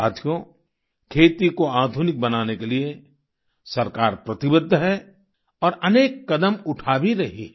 साथियो खेती को आधुनिक बनाने के लिए सरकार प्रतिबद्ध है और अनेक कदम उठा भी रही है